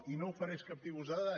i no ofereix cap tipus de dada